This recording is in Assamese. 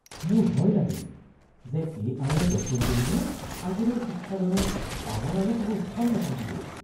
মোৰ ভয় লাগে যে এ.আই.য়ে দখল কৰিলে আগলৈ শিক্ষাদানত আমাৰ আৰু কোনো স্থান নাথাকিব।